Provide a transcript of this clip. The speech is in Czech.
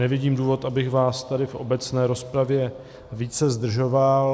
Nevidím důvod, abych vás tady v obecné rozpravě více zdržoval.